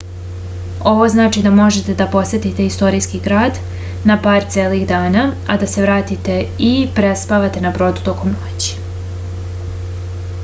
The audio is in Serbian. ovo znači da možete da posetite istorijski grad na par celih dana a da se vratite i prespavate na brodu tokom noći